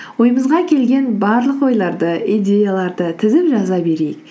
ойымызға келген барлық ойларды идеяларды тізіп жаза берейік